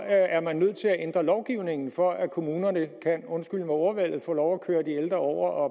er man nødt til at ændre lovgivningen for at kommunerne kan undskyld ordvalget få lov at køre de ældre over og